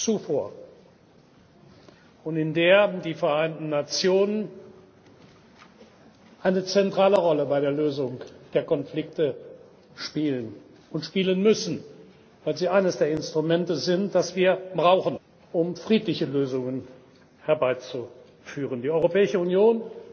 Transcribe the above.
nie zuvor und in der die Vereinten Nationen eine zentrale Rolle bei der Lösung der Konflikte spielen und spielen müssen, weil sie eines der Instrumente sind, das wir brauchen, um friedliche Lösungen herbeizuführen. Die Europäische Union